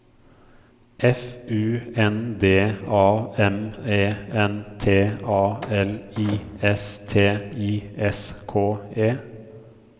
F U N D A M E N T A L I S T I S K E